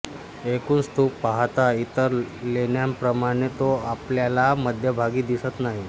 एकूण स्तूप पाहता इतर लेण्यांप्रमाणे तो आपल्याला मध्यभागी दिसत नाही